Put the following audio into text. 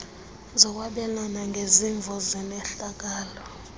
lokwabelana ngezimvo nezehlakalo